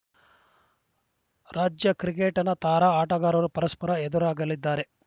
ರಾಜ್ಯ ಕ್ರಿಕೆಟ್‌ನ ತಾರಾ ಆಟಗಾರರು ಪರಸ್ಪರ ಎದುರಾಗಲಿದ್ದಾರೆ